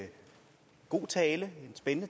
udtale